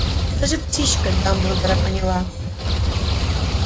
даже птичка дамблдора поняла